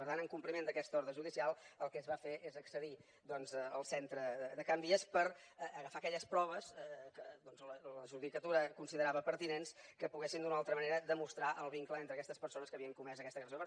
per tant en compliment d’aquesta ordre judicial el que es va fer és accedir doncs al centre de can vies per agafar aquelles proves que la judicatura considerava pertinents que poguessin d’una o altra manera demostrar el vincle entre aquestes persones que havien comès aquesta agressió